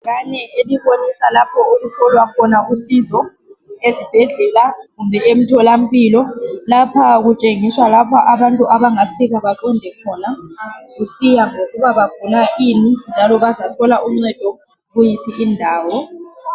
Ibhakane elibonisa lapho okutholwa khona usizo esibhedlela kumbe emtholampilo lapha kutshengiswa lapha abantu abangafika baqonde khona kusiya ngokuba bagula ini njalo bazathola uncedo kuyiphi indawo